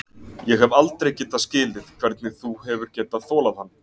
Ég hef aldrei getað skilið hvernig þú hefur getað þolað hann.